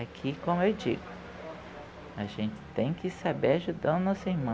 Aqui, como eu digo, a gente tem que saber ajudar o nosso irmão.